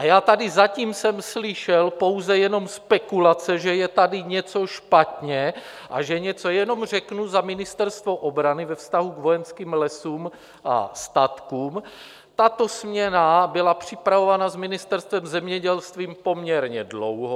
A já tady zatím jsem slyšel pouze jenom spekulace, že je tady něco špatně, a že něco jenom řeknu za Ministerstvo obrany ve vztahu k Vojenským lesům a statkům: tato směna byla připravována s Ministerstvem zemědělství poměrně dlouho.